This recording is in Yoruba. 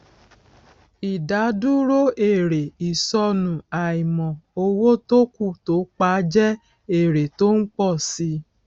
ìdádúró èrè ìsọnù àìmọ owó tó kù tó pa jẹ èrè tó ń pọ si